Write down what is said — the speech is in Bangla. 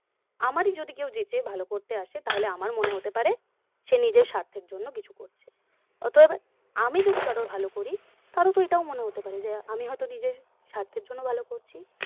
আমারই যদি কেউ যেচে ভালো করতে আসে তাহলে আমার মনে হতে পারে সে নিজের স্বার্থের জন্য ভালো করতে এসেছে অতএব আমি যদি কারোর ভালো করি তারও তো এটাই মনে হতে পারে যে আমি হয়তো নিজের স্বার্থের জন্য তাকে ভালো করছি